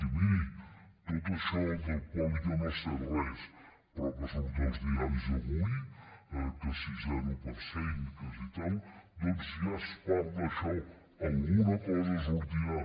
i miri tot això del qual jo no sé res però que surt als diaris avui que si zero per cent que si tal doncs ja es parla d’això alguna cosa sortirà